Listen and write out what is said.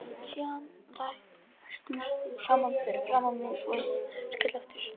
Síðan læstust þeir saman fyrir framan mig svo ég skall aftur í stólinn.